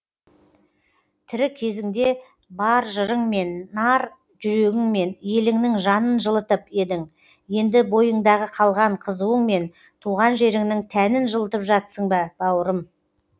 тірі кезіңде бар жырыңмен нар жүрегіңмен еліңнің жанын жылытып едің енді бойыңдағы қалған қызуыңмен туған жеріңнің тәнін жылытып жатсың ба бауырым